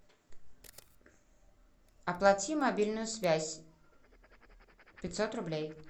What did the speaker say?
оплати мобильную связь пятьсот рублей